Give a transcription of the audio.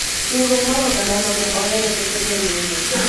riwruok mar oganda ma ne ohero ketho chenrono